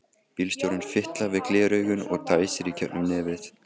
Bílstjórinn fitlar við gleraugun og dæsir í gegnum nefið.